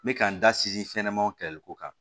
N bɛ ka n da sinsin fɛn ɲɛnɛmaw kɛlɛliko kan